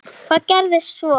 Hvað gerðist svo!?